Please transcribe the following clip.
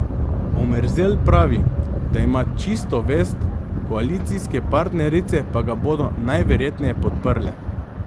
Omerzel pravi, da ima čisto vest, koalicijske partnerice pa ga bodo najverjetneje podprle.